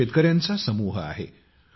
हा शेतकऱ्यांचा समूह आहे